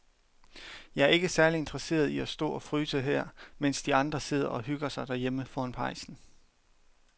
Jeg er ikke særlig interesseret i at stå og fryse her, mens de andre sidder og hygger sig derhjemme foran pejsen.